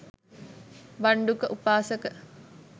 භණ්ඩුක උපාසක